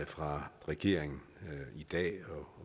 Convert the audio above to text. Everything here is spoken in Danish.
fra regeringen her i dag